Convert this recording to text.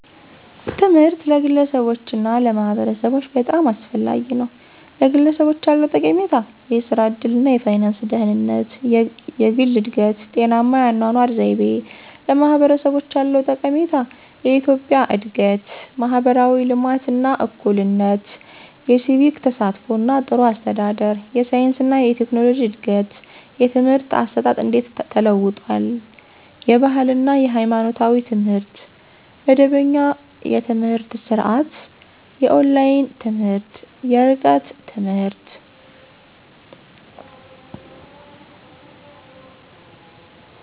ትምህርት ለግለሰቦች እና ለማህበረሰቦች በጣም አስፈላጊ ነው፤ #ለግለሰቦች ያለው ጠቀሜታ -* የሥራ ዕድል እና የፋይናንስ ደህንነት: * የግል እድገት: * ጤናማ የአኗኗር ዘይቤ: #ለማህበረሰቦች ያለው ጠቀሜታ -* የኢኮኖሚ እድገት: * ማህበራዊ ልማት እና እኩልነት: * የሲቪክ ተሳትፎ እና ጥሩ አስተዳደር: * የሳይንስ እና ቴክኖሎጂ እድገት: #የትምህርት አሰጣጥ እንዴት ተለውጧል? * የባህል እና ሃይማኖታዊ ትምህርት * መደበኛ የትምህርት ስርዓት * የኦንላይን ትምህርት *የርቀት ትምህርት.....